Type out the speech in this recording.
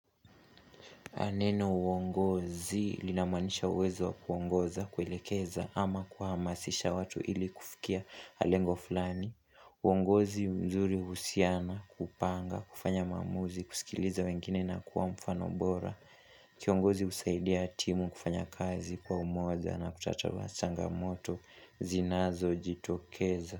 Neno uongozi linamaanisha uwezo wa kuongoza kuelekeza ama kuhamasisha watu ili kufikia lengo fulani. Uongozi mzuri uhusiana hupanga, kufanya maamuzi, kusikiliza wengine na kuwa mfano bora. Kiongozi husaidia timu kufanya kazi kwa umoja na kutatua changamoto zinazo jitokeza.